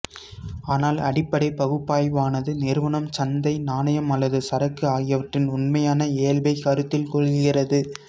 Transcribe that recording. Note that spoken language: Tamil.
ஆனால் அடிப்படைப் பகுப்பாய்வானது நிறுவனம் சந்தை நாணயம் அல்லது சரக்கு ஆகியவற்றின் உண்மையான இயல்பைக் கருத்தில் கொள்கிறது